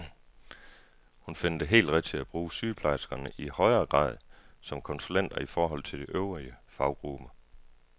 Hun finder det helt rigtigt at bruge sygeplejerskerne i højere grad som konsulenter i forhold til de øvrige faggrupper.